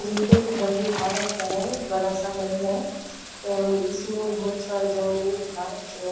ये कोई घर दिखा रखा है बड़ा सा घर है एंड इसमें बहोत सारे जंगले दिखा रखी हैं।